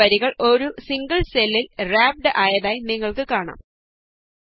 ഒന്നില കൂടുതൽ വരികൾഒരു സിംഗിള് സെല്ലില് വ്രാപ്ഡ് ആയതായി നിങ്ങള്ക്ക് കാണാം